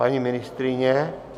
Paní ministryně?